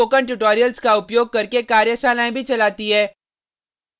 spoken tutorials का उपयोग करके कार्यशालाएँ भी चलाती है